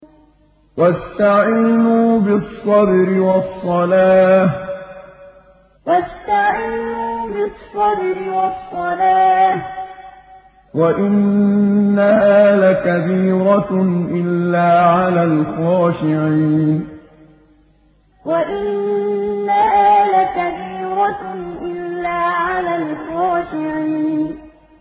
وَاسْتَعِينُوا بِالصَّبْرِ وَالصَّلَاةِ ۚ وَإِنَّهَا لَكَبِيرَةٌ إِلَّا عَلَى الْخَاشِعِينَ وَاسْتَعِينُوا بِالصَّبْرِ وَالصَّلَاةِ ۚ وَإِنَّهَا لَكَبِيرَةٌ إِلَّا عَلَى الْخَاشِعِينَ